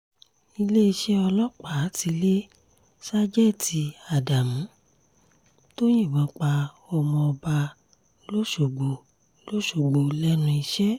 iléeṣẹ́ ọlọ́pàá ti lé ṣàjètì ádámù tó yìnbọn pa ọmọọba lọ́sọ̀gbò lọ́sọ̀gbò lẹ́nu iṣẹ́